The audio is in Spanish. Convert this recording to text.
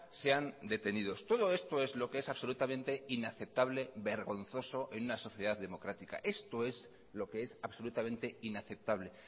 sean detenidos todo esto es lo que es absolutamente inaceptable vergonzoso en una sociedad democrática esto es lo que es absolutamente inaceptable